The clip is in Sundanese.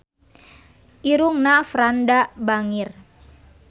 Irungna Franda bangir